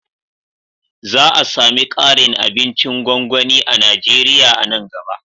Za a sami ƙarin abincin gwangwani a Najeriya a nan gaba